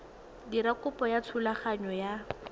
dira kopo ya thulaganyo ya